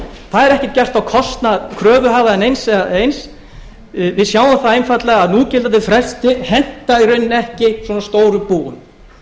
það er ekki gert á kostnað kröfuhafa eða eins eða neins við sjáum það einfaldlega að núgildandi frestir henta í rauninni ekki svona stóru búi